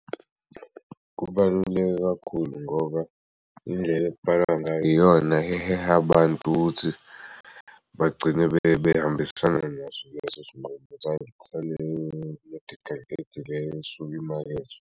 Kubaluleke kakhulu ngoba indlela iyona eheha abantu ukuthi bagcine behambisana naso leso sinqumo saleyo-medical aid leyo esuke imakhethwa.